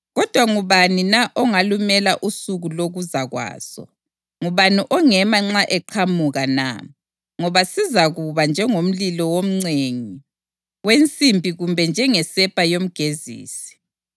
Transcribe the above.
Kodwa ngubani na ongalumela usuku lokuza kwaso? Ngubani ongema nxa eqhamuka na? Ngoba sizakuba njengomlilo womcengi wensimbi kumbe njengesepa yomgezisi.